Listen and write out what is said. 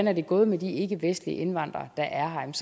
er gået med de ikkevestlige indvandrere der er her